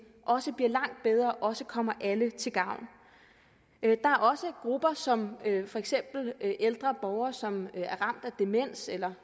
også bliver langt bedre og også kommer alle til gavn det er også grupper som for eksempel ældre borgere som er ramt af demens eller